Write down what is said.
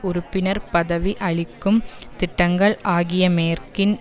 உறுப்பினர் பதவி அளிக்கும் திட்டங்கள் ஆகிய மேற்கின்